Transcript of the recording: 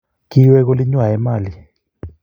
Kiwek olingwai Emali